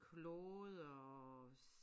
Klode og